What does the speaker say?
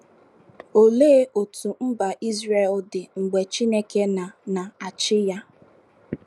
Olee otú mba Izrel dị mgbe Chineke na na - achị ya?